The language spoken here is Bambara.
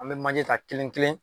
An mɛ manje ta kelen kelen.